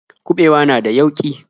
Kuɓewa na da yauƙi.